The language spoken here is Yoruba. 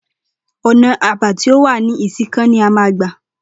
Ò̩nà è̩bá tí ó wà ní Ìsìnkàn ni a máa gbà